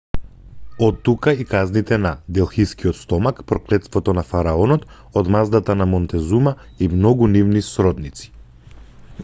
оттука и казните на делхискиот стомак проклетството на фараонот одмаздата на монтезума и многу нивни сродници